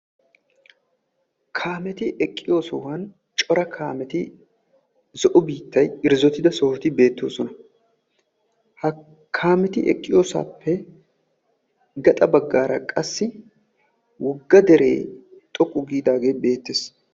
Kaametti eqqiyo sohuwan cora kaametti zo'o biittay irzzotti sohoti beetosonna.ha kaamieti eqqiyoosappe gaxaa baggaara qassi wogga dere woqqu giidaage beettees.